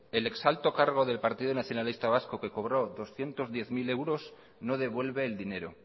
el ex alto cargo del partido nacionalista vasco que cobró doscientos diez mil euros no devuelve el dinero